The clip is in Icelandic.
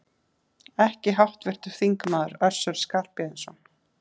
Ekki háttvirtur þingmaður Össur Skarphéðinsson?